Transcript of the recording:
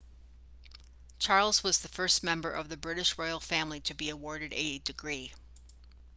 charles was the first member of the british royal family to be awarded a degree